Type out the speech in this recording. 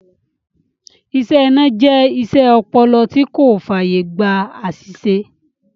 Iṣẹ́ iná jẹ iṣẹ́ ọpọlọ tí kò fàyè gba àsìsè